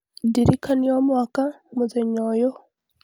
ndirikania o mwaka mũthenya ũyũ